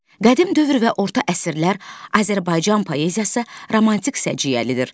Qədim dövr və orta əsrlər Azərbaycan poeziyası romantik səciyyəlidir.